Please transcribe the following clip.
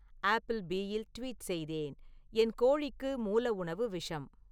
ஆப்பிள்பீயில் tweet செய்தேன் என் கோழிக்கு மூல உணவு விஷம்